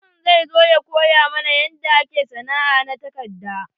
Mutumin zai zo ya koya mana yanda ake sana'a na takarda.